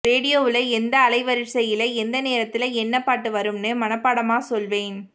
ரேடியோவுல எந்த அலைவரிசையில எந்த நேரத்துல என்ன பாட்டு வரும்னு மனப்பாடமா சொல்வேன்